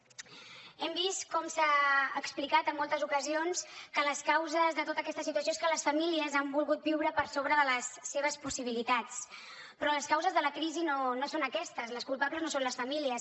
hem vist com s’ha explicat en moltes ocasions que les causes de tota aquesta situació és que les famílies han volgut viure per sobre de les seves possibilitats però les causes de la crisi no són aquestes les culpables no són les famílies